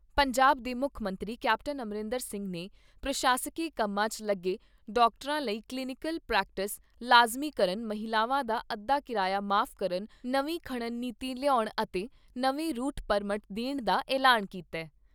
ਪੰਜਾਬ ਦੇ ਮੁੱਖ ਮੰਤਰੀ ਕੈਪਟਨ ਅਮਰਿੰਦਰ ਸਿੰਘ ਨੇ ਪ੍ਰਸ਼ਾਸਕੀ ਕੰਮਾਂ 'ਚ ਲੱਗੇ ਡਾਕਟਰਾਂ ਲਈ ਕਲੀਨੀਕਲ ਪ੍ਰੈਕਟਿਸ ਲਾਜ਼ਮੀ ਕਰਨ, ਮਹਿਲਾਵਾਂ ਦਾ ਅੱਧਾ ਕਿਰਾਇਆ ਮਾਫ਼ ਕਰਨ, ਨਵੀਂ ਖਨਣ ਨੀਤੀ ਲਿਆਉਣ ਅਤੇ ਨਵੇਂ ਰੂਟ ਪਰਮਟ ਦੇਣ ਦਾ ਐਲਾਨ ਕੀਤਾ ।